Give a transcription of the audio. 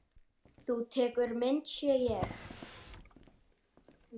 Þú tekur myndir, sé ég.